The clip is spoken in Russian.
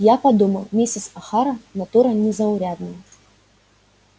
я подумал мисс охара натура незаурядная